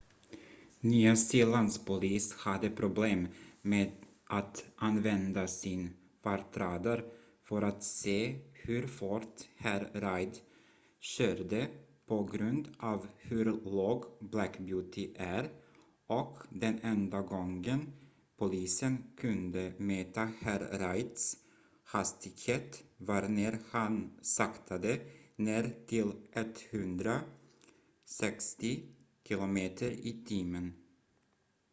nya zeelands polis hade problem med att använda sin fartradar för att se hur fort herr reid körde på grund av hur låg black beauty är och den enda gången polisen kunde mäta herr reids hastighet var när han saktade ner till 160 km/h